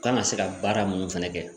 U kana se ka baara munnu fɛnɛ kɛ